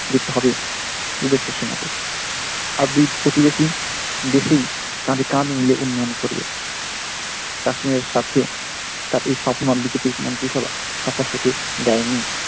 জিততে হবে দু'দেশের সেনাকে আর দুই প্রতিবেশী দেশই কাঁধে কাঁধ মিলিয়ে উন্নয়ন করবে কাশ্মীরের সাথে তাদের স্বপ্ন বিজেপির মন্ত্রী সভা সাক্ষাৎ হতে দেয়নি।